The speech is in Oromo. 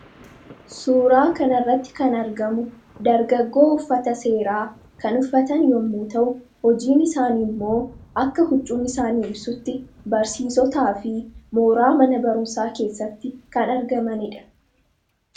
suuraa kanarratti kan argamu dargaggoo uffata seeraa kan uffatan yemmuu ta'u, hojiin isaanii immoo akka huccuun isaanii ibsutti barsiisotaa fi mooraa mana barumsaa keessatti kan argamaniidha.